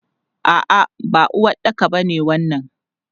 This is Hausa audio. A'a, ba uwaɗɗaka ba ne wannan.